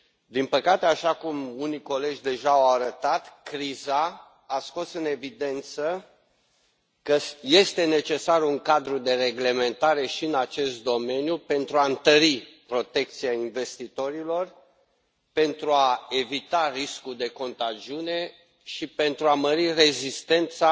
Din păcate, așa cum unii colegi deja au arătat, criza a scos în evidență că este necesar un cadru de reglementare și în acest domeniu, pentru a întări protecția investitorilor, pentru a evita riscul de contagiune și pentru a mări rezistența